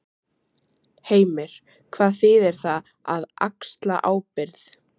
Heimir: Hvað þýðir það, að axla ábyrgð?